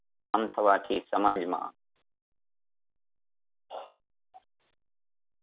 આમ થવાથી સમાજમાં